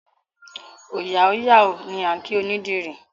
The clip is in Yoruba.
Òòyà ó yà o! ni a kí onídìrí.